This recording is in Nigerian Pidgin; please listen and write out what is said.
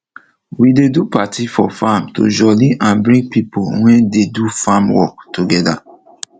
we dey do party for farm to jolly and bring pipo wey dey do farm work togeda